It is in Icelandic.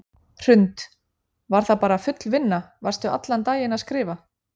Hrund: Var það bara full vinna, varstu allan daginn að skrifa?